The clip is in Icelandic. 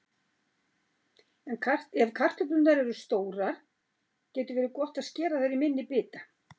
Ef kartöflurnar eru stórar getur verið gott að skera þær í minni bita.